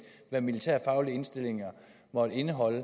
hvad militærfaglige indstillinger måtte indeholde